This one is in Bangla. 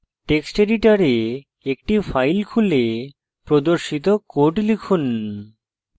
text editor একটি file খুলে প্রদর্শিত code লিখুন